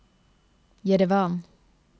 Jerevan